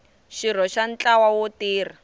xirho xa ntlawa wo tirha